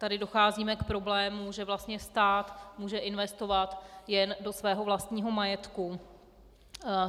Tady docházíme k problému, že vlastně stát může investovat jen do svého vlastního majetku.